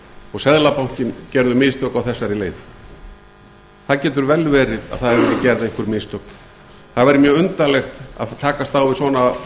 og seðlabankinn gerðu mistök á þessari leið það getur vel verið að það hafi verið gerð einhver mistök það væri mjög undarlegt að takast á við svona